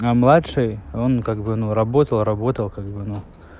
а младший он как бы ну работал работал как бы ну